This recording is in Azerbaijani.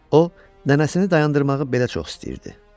O nənəsini dayandırmağı belə çox istəyirdi.